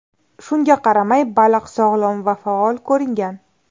Shunga qaramay, baliq sog‘lom va faol ko‘ringan.